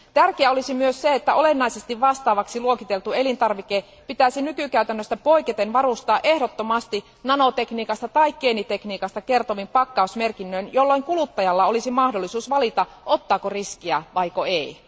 Tärkeää olisi myös se, että olennaisesti vastaavaksi luokiteltu elintarvike pitäisi nykykäytännöstä poiketen varustaa ehdottomasti nanotekniikasta tai geenitekniikasta kertovin pakkausmerkinnöin, jolloin kuluttajalla olisi mahdollisuus valita, ottaako riskiä vai ei.